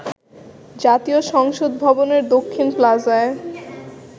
জাতীয় সংসদ ভবনের দক্ষিণ প্লাজায়